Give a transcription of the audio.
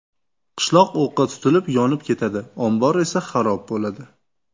Qishloq o‘qqa tutilib yonib ketadi, ombor esa xarob bo‘ladi.